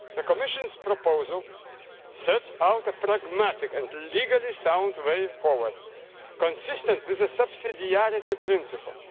The Commission's proposal sets out a pragmatic and legally-sound way forward, consistent with the subsidiarity principle.